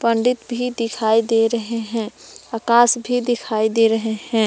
पंडित भी दिखाई दे रहे हैं आकाश भी दिखाई दे रहे हैं।